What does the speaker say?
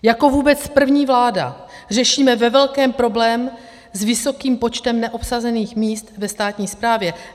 Jako vůbec první vláda řešíme ve velkém problém s vysokým počtem neobsazených míst ve státní správě.